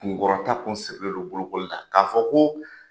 Kun kɔrɔtan kun sirilen don bolokoli la k'a fɔ ko.